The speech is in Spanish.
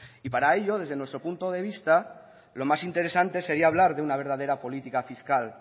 y para ello desde nuestro punto de vista lo más interesante sería hablar de una verdadera política fiscal